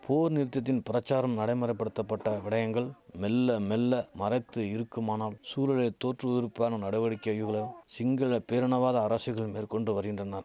போர் நிறுத்தத்தின் பிரச்சாரம் நடைமுறைபடுத்தபட்ட விடயங்கள் மெல்ல மெல்ல மறைத்து இறுக்குமானால் சூழலை தோற்று உருப்பான நடவடிக்கையுகள சிங்கள பேரினவாத அரசுகள் மேற்கொண்டு வரிகின்றனர்